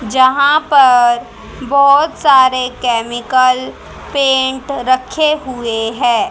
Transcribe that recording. जहां पर बहोत सारे केमिकल पेंट रखे हुए हैं।